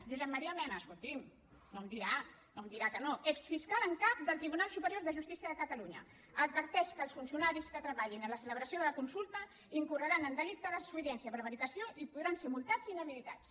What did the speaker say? josep maria mena escolti’m no em dirà que no exfiscal en cap del tribunal superior de justícia de catalunya adverteix que els funcionaris que treballin en la celebració de la consulta incorreran en delicte de desobediència prevaricació i podran ser multats i inhabilitats